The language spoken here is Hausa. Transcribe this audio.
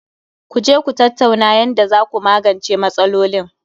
Ku je Ku tattauna yanda zaku magance matsalolin